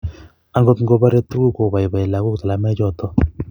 akot ngo borei tukuk, koiboiboi lakok talamoichoto